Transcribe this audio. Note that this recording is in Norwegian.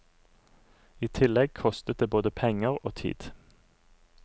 I tillegg kostet det både penger og tid.